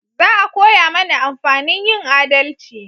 Za a koya mana amfanin yin adalci